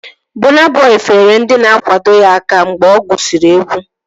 Bọna Bọi feere ndị na-akwado ya aka mgbe ọ gụsiri egwu